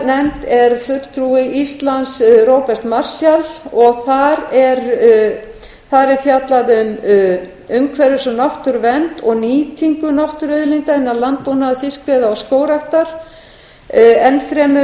náttúruauðlindanefnd er fulltrúi íslands róbert marshall og þar er fjallað um umhverfis og náttúruvernd og nýtingu náttúruauðlinda innan landbúnaðar fiskveiða og skógræktar enn fremur